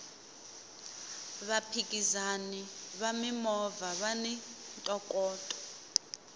vaphikizani va mimovha vani ntokoto